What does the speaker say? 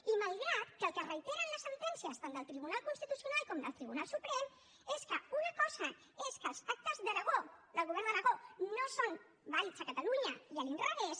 i malgrat que el que reiteren les sentències tant del tribunal constitucional com del tribunal suprem és que una cosa és que els pactes d’aragó del govern d’aragó no són vàlids a catalunya i a l’inrevés